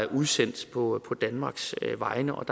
udsendt på danmarks vegne og